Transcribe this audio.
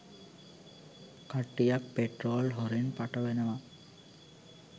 කට්ටියක් පෙට්‍රෝල් හොරෙන් පටවනවා